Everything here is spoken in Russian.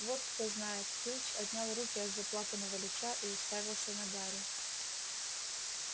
вот кто знает филч отнял руки от заплаканного лица и уставился на гарри